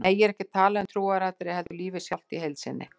Nú er ég ekki að tala um trúaratriði heldur lífið sjálft í heild sinni.